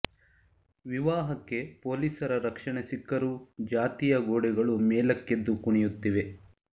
ವಿವಾಹಕ್ಕೆ ಪೊಲೀಸರ ರಕ್ಷಣೆ ಸಿಕ್ಕರೂ ಜಾತಿಯ ಗೋಡೆಗಳು ಮೇಲಕ್ಕೆದ್ದು ಕುಣಿಯುತ್ತಿವೆ